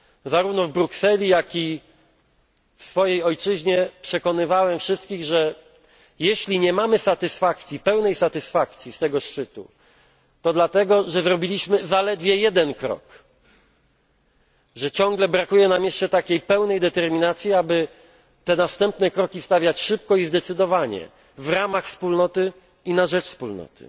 Zarówno w Brukseli, jak i w swojej ojczyźnie przekonywałem wszystkich, że jeśli nie mamy pełnej satysfakcji z tego szczytu, to dlatego, że zrobiliśmy zaledwie jeden krok, że ciągle brakuje nam jeszcze pełnej determinacji, aby te następne kroki stawiać szybko i zdecydowanie w ramach Wspólnoty i na rzecz Wspólnoty.